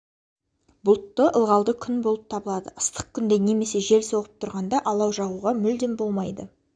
бұлтты ылғалды күн болып табылады ыстық күнде немесе жел соғып тұрғанда алау жағуға мүлдем болмайды